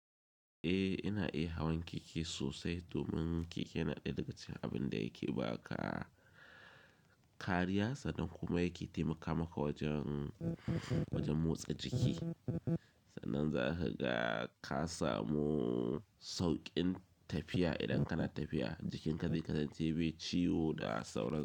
Eh, ina iya hawan keke sosai domin keke yana ɗaya daga cikin abin da yake ba ka kariya sannan kuma yake taimaka maka wajen, wajen motsa jiki. Sannan zahiga ka samu sauƙin tafiya idan kana tafiya jikinka zai kasance bi chiwo da sauran su.